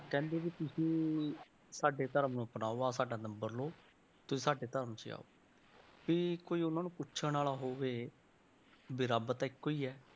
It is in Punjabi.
ਕਹਿੰਦੇ ਵੀ ਤੁਸੀਂ ਸਾਡੇ ਧਰਮ ਨੂੰ ਅਪਣਾਓ ਆਹ ਸਾਡਾ number ਲਓ, ਤੁਸੀਂ ਸਾਡੇ ਧਰਮ 'ਚ ਆਓ, ਵੀ ਉਹਨਾਂ ਕੋਈ ਪੁੱਛਣ ਵਾਲਾ ਹੋਵੇ ਵੀ ਰੱਬ ਤਾਂ ਇੱਕੋ ਹੀ ਹੈ।